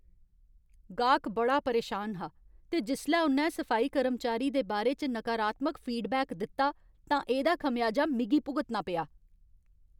गाह्क बड़ा परेशान हा ते जिसलै उ'न्नै सफाई कर्मचारी दे बारे च नकारात्मक फीडबैक दित्ता तां एह्दा खमेआजा मिगी भुगतना पेआ।